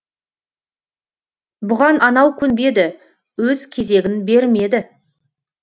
бұған анау көнбеді өз кезегін бермеді